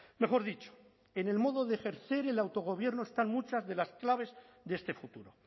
mejor dicho en el modo de ejercer el autogobierno están muchas de las claves de este futuro